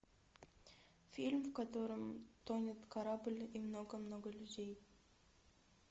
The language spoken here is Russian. фильм в котором тонет корабль и много много людей